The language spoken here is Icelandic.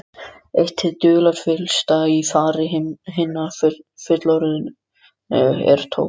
Eitt hið dularfyllsta í fari hinna fullorðnu er tóbakið.